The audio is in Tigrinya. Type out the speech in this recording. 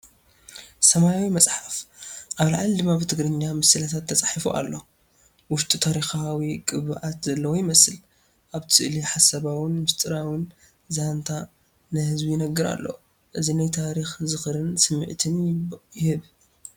ሰማያዊ መጽሓፍ:-ኣብ ላዕሊ ድማ ብትግርኛ “ምስላታት” ተጻሒፉ ኣሎ። ውሽጡ ታሪኻዊ ቅብኣት ዘለዎ ይመስል፣ ኣብቲ ስእሊ ሓሳባውን ምስጢራውን ዛንታ ንህዝቢ ይንገር ኣሎ። እዚ ናይ ታሪኽን ዝኽርን ስምዒት ይህብ።